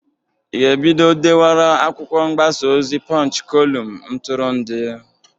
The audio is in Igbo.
Ị ga-ebido dewara akwụkwọ mgbasa ozi Pọnch kolum ntụrụndụ?